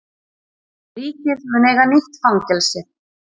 Ríkið mun eiga nýtt fangelsi